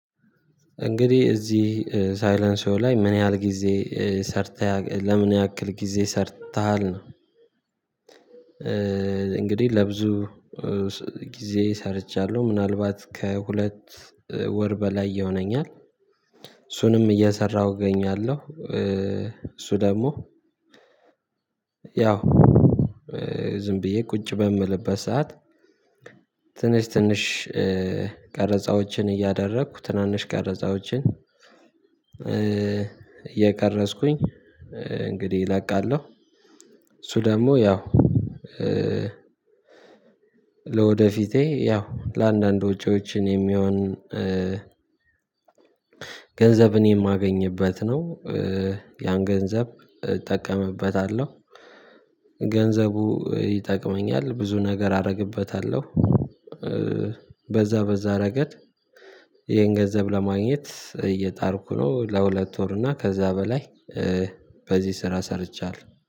እንግዲህ እዚህ ሳይለሲዬ ላይ ምን ያህል ጊዜ ሰርተሃል ለምን ያክል ጊዜ ሰርተሃል ነው? እንግዲህ ለብዙ ጊዜ ሰርቻለሁ ምናልባት ከሁለት ወር በላይ ይሆነኛል። እሱንም እየሰራሁ እገኛለሁ። እሱ ደግሞ ያው ዝም ብዬ ቁጭ በምልበት ሰዓት። ትንሽ ትንሽ ቀረጻዎችን እያደረኩ ትናንሽ ቀረጻዎችን እየቀረጽኩኝ እንግዲህ እለቃለሁ። እሱ ደግሞ ያው ለወደፊቴ ያው ለአንዳንድ ወጪዎች የሚሆን ገንዘብን የማገኝበት ነው። ያን ገንዘብ እጠቀምበታለሁ ገንዘቡ ይጠቅመኛል ብዙ ነገር አደርግበታለሁ። በዛ በዛ ረገድ ይሄን ገንዘብ ለማግኘት እየጣርኩ ነው። ለሁለት ወር እና ከዛ በላይ በዚህ ስራ ሰርቻለሁ